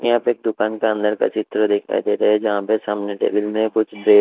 यहां पे एक दुकान का अंदर का चित्र दिखाई दे रहा है जहां पे सामने टेबल में कुछ--